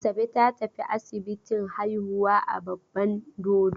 Asabe ta tafi asibiti haihuwa a Babban Dodo.